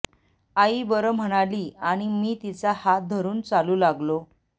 आई बरं म्हणाली आणि मी तिचा हात धरून चालू लागलो